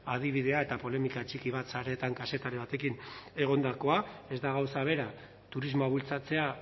adibidea eta polemika txiki bat sareetan kazetari batekin egondakoa ez da gauza bera turismoa bultzatzea